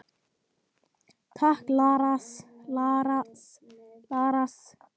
Takk Lars.